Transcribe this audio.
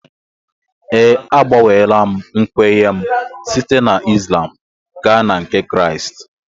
Ee, agbanweela m nkwenye m site na Islam gaa na nke Kraịst